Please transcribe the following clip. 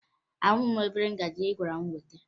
Ahụghị m obere ngaji ị gwara m weta